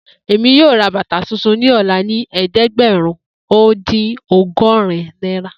Emi yoo ra bata tuntun ni ọla ni ẹdẹgbẹrun o din ọgọrin naira